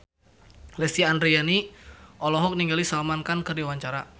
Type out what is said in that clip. Lesti Andryani olohok ningali Salman Khan keur diwawancara